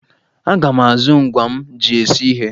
Aga m azụ ngwa m ji esi ihe.